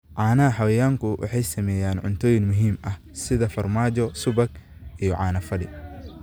Caanaha xayawaanku waxay sameeyaan cuntooyin muhiim ah sida farmaajo, subag, iyo caano fadhi.